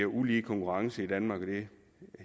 ulige konkurrence i danmark og det